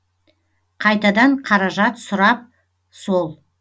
қайтадан қаражат сұрап сол